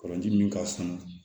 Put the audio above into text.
Kɔlɔnji min ka sunun